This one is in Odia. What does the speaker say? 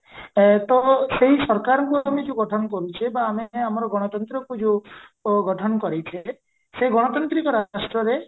ତ ସେଇ ସରକାରଙ୍କୁ ଆମେ ଯୋଉ ଗଠନ କରୁଚେ ବା ଆମେ ଆମର ଗଣତନ୍ତ୍ରକୁ ଯୋଉ ଗଠନ କରିଛେ ସେ ଗଣତାନ୍ତ୍ରିକ ରାଷ୍ଟ୍ରରେ